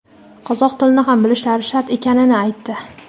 qozoq tilini ham bilishlari shart ekanini aytdi.